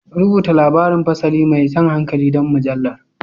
Rubuta labarin fasali mai jan hankali don mujallar.